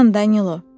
Dayan, Danilo!